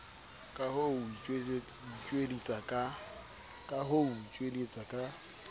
ka ho o tjodietsa ka